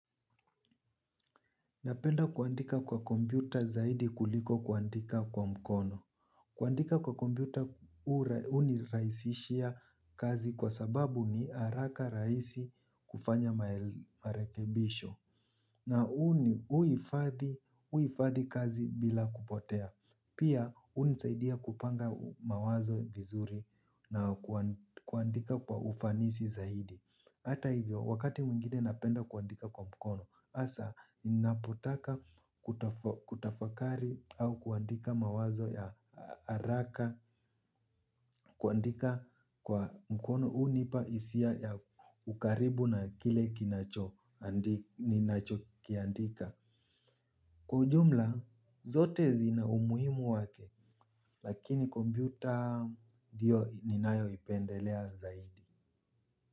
Napenda kuandika kwa kompyuta zaidi kuliko kuandika kwa mkono. Kuandika kwa kompyuta hunirahishia kazi kwa sababu ni araka rahisi kufanya marekebisho. Na huifadhi, huifadhi kazi bila kupotea. Pia hunisaidia kupanga mawazo vizuri na kuandika kwa ufanisi zaidi. Hata hivyo, wakati mwingine napenda kuandika kwa mkono, hasa ninapotaka kutafakari au kuandika mawazo ya haraka, kuandika kwa mkono hunipa hisia ya ukaribu na kile kinacho, ninacho kiandika. Kwa ujumla, zote zina umuhimu wake, lakini kompyuta ndio ninayo ipendelea zaidi.